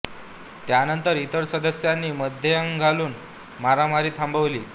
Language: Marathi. त्यानंतर इतर सदस्यांनी मध्ये अंग घालून मारामारी थांबवली